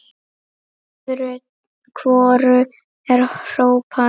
Öðru hvoru er hrópað.